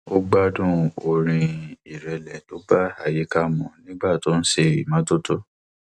ó gbádùn orin ìrẹlẹ tó bá àyíká mu nígbà tó ń ṣe ìmọtótó